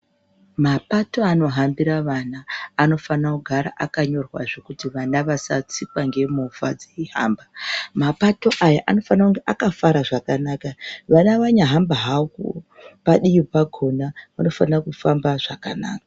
Maoato anohambura vana anofana kugara akanyirwe zvekuti vana vasatsikwa nemovha veihamba mapato awa anofana kunge akagara zvakanaka vana vanyahamba hwawo padiwi pakona vanofana kufamba zvakanaka.